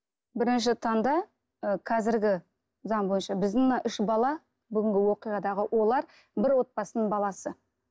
бірінші таңда ы қазіргі заң бойынша біздің мына үш бала бүгінгі оқиғадағы олар бір отбасының баласы